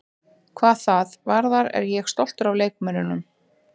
Hvað það varðar er ég stoltur af leikmönnunum.